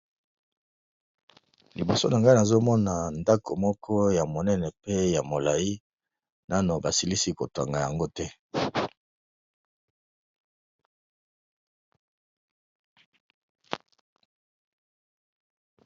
liboso na ngai nazomona ndako moko ya monene pe ya molai nano basilisi kotanga yango te